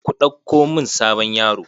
Ku ɗauko mun sabon yaro.